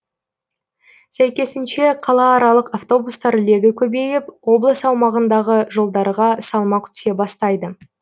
сәйкесінше қалааралық автобустар легі көбейіп облыс аумағындағы жолдарға салмақ түсе бастайды